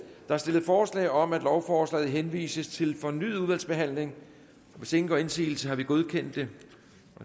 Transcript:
er stillet forslag om at lovforslaget henvises til fornyet udvalgsbehandling hvis ingen gør indsigelse har vi godkendt det